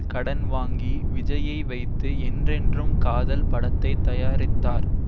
கடன் வாங்கி விஜய்யை வைத்து என்றென்றும் காதல் படத்தை தயாரித்தார்